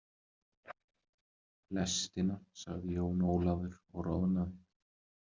Lestina, sagði Jón Ólafur og roðnaði.